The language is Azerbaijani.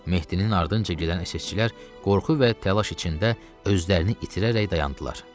Mehdinin ardınca gedən SSçilər qorxu və təlaş içində özlərini itirərək dayandılar.